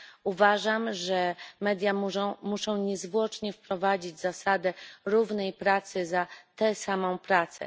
Uważam, że media muszą niezwłocznie wprowadzić zasadę równej płacy za tę samą pracę.